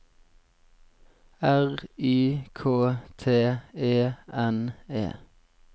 R Y K T E N E